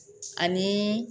Ani